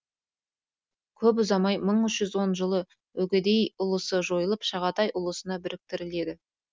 көп ұзамай мың үш жүз он жылы үгедей ұлысы жойылып шағатай ұлысына біріктіріледі